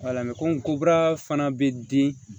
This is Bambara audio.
komi ko kura fana bɛ di